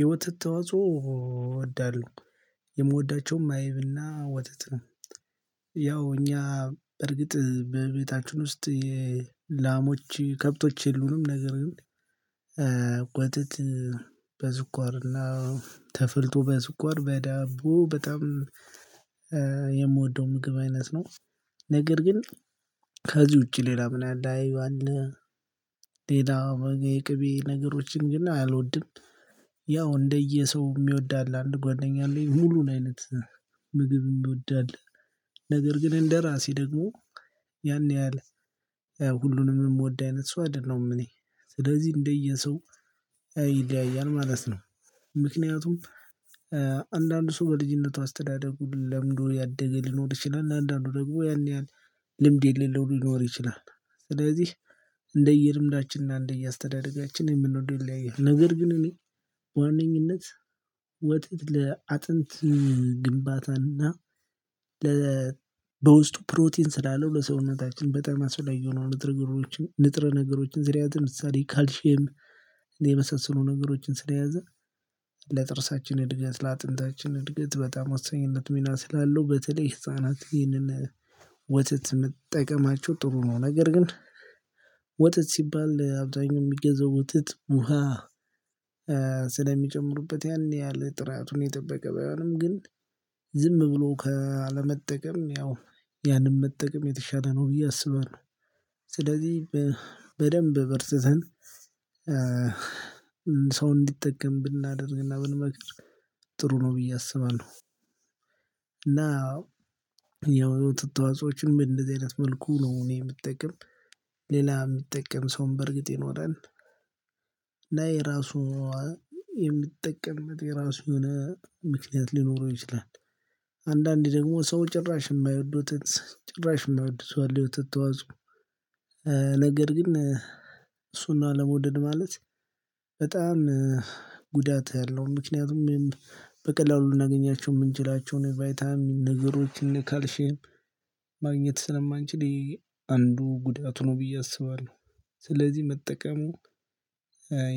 የወተት ተዋጾው ወዳለው የምወዳቸውም አይብና ወተት ነው። ያው እኛ እርግጥ በቤታችን ውስጥ የላሞች ከብቶች የሉንም ነገር ግን ወተት በስኳርና ተፍልቶ በስኳር በዳቦ በጣም የምወደው ምግብ አይነት ነው። ነገር ግን ከዚህ ውጪ ሌላ ምናምን ያህል አያዩም። ሌላ የቅቤ ነገሮችን ግን አልወድም። ያው እንደየሰው የሚወዳል አንድ ጓደኛ አለኝ ሙሉን አይነት ምግብ የሚወዳል ነገር ግን እንደራሴ ደግሞ ያን ያህል ሁሉንም የምወድ አይነት ሰው አይደለም። እኔ ስለዚህ እንደየሰው ይለያያል ማለት ነው። ምክንያቱም አንዳንድ ሰው በልጅነቱ አስተዳደጉን ለምዶ ያደገ ሊኖር ይችላል አንዳንዱ ደግሞ ያን ያህል ልምድ የሌለው ሊኖር ይችላል። ስለዚህ እንደ እየልምዳችንና እንደ እየአስተዳደጋችን የምንወደውን ይለያያል ነው። ነገር ግን እኔ ዋነኝነት ወተት ለአጥንት ግንባታና ለ በውስጡ ፕሮቲን ስላለው ለሰውነታችን በጣም አስፈላጊ የሆኑ ንጥረ ንጥረ ነገሮችን ስርያት ምሳሌ ካልሼም የመሰሰሉ ነገሮችን ስለያዘ ለጥርሳችን እድገት ለአጥንታችን እድገት ተበጣም ወሳኝነት ሚና ስላለው በተለይ ህፃናት ይህንን ወተት መጠቀማቸው ጥሩ ነው። ነገር ግን ወተት ሲባል አብዛኛው የሚገዘው ወጥት ውሃ ስለሚጨምሩበት ያን ያህል ጥራቱን የጠበቀ ባይሆንም ግን ዝም ብሎ አለመጠቀም ያው ያንን መጠቀም የተሻለ ነው ብዬ አስባለሁ። ስለዚህ በደንብ በርትተን ሰው እንዲጠቀም ብናደርግና ብንመክር ጥሩ ነው ብዬ አስባለሁ። እና የወተት ተዋጾችን በእንደዚህ አይነት መልኩ ነው እኔ የምጠቅም ሌላ የሚጠቀም ሰውን በእርግጥ ይኖራል። ላይ ራሱ የሚጠቀምበት የራሱ የሆነ ምክንያት ሊኖረው ይችላል። አንዳንዴ ደግሞ ሰው ጭራሽ የማይወዱት ጭራሽ የማይወድ ወተት ተዋጾ። ነገር ግን እሱን ነው አለመውደድ ማለት በጣም ጉዳት ያለው ምክንያቱም በቀላሉ ልናገኛቸው የምንችላቸውን ቫይታሚን ነገሮችን ካልሽም ማግኘት ስለማንችል አንዱ ጉዳት ሆኖ ብዬ አስባለሁ። ስለዚህ መጠቀሙ